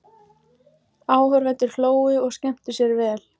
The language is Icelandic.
Áhorfendur hlógu og skemmtu sér vel.